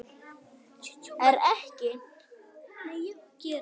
Er ekki